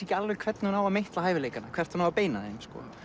ekki alveg hvernig hún á að meitla hæfileikana hvert hún á að beina þeim